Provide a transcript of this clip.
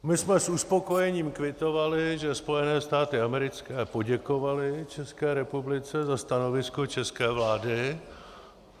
My jsme s uspokojením kvitovali, že Spojené státy americké poděkovaly České republice za stanovisko české vlády.